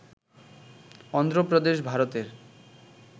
অন্ধ্র প্রদেশ ভারতের